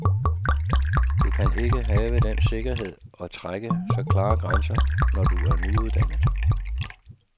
Du kan ikke have den sikkerhed og trække så klare grænser, når du er nyuddannet.